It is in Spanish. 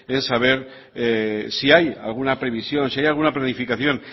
en saber si hay alguna previsión si hay alguna planificación